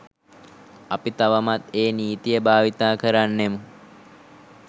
අපි තවමත් ඒ නීතිය භාවිතා කරන්නෙමු.